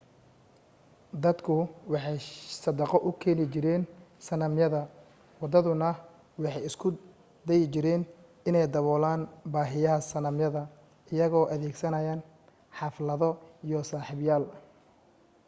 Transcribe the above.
dadku waxay sadaqo u keeni jireen sanamyada wadaaduna waxay isku dayi jireen inay daboolaan baahiyaha sanamyada iyagoo adeegsanaya xaflado iyo sabyaal